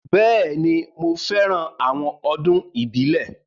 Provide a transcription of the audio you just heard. Bẹ́ẹ̀ni, mo fẹ́ran àwọn ọdún ìbílẹ̀